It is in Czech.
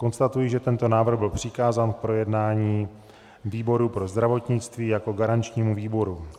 Konstatuji, že tento návrh byl přikázán k projednání výboru pro zdravotnictví jako garančnímu výboru.